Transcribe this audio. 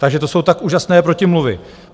Takže to jsou tak úžasné protimluvy.